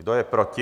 Kdo je proti?